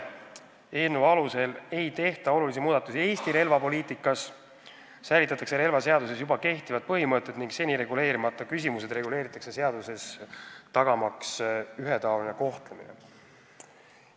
Eelnõu kohaselt ei tehta Eesti relvapoliitikas olulisi muudatusi, säilitatakse relvaseaduses juba kehtivad põhimõtted ning seni reguleerimata küsimused reguleeritakse seaduses, tagamaks ühetaoline kohtlemine.